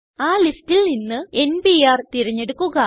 ആ ലിസ്റ്റിൽ നിന്ന് n പിആർ തിരഞ്ഞെടുക്കുക